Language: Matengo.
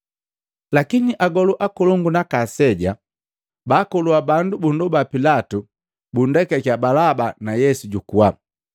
Lakini agolu akolongu naaka aseja baakolua bandu bundoba Pilatu bunndekakia Balaba na Yesu jukuwa.